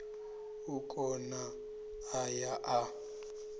o kuna a ya a